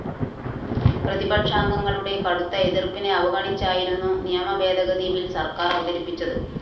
പ്രതിപക്ഷാംഗങ്ങളുടെ കടുത്ത എതിര്‍പ്പിനെ അവഗണിച്ചായിരുന്നു നിയമഭേദഗതി ബിൽ സര്‍ക്കാര്‍ അവതരിപ്പിച്ചത്